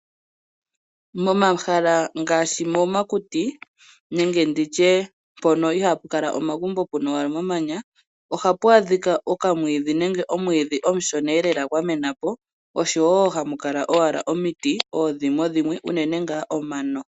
Momahala ngaashi momakuti nenge nditye mpono ihaa pu kala omagumbo puna owala omamanya, ohapu adhika okamwiidhi nenge omwiidhi omushoneelela gwa mena po oshowo hamu kala owala omiti oodhimwedhimwe, unene ngaa omano.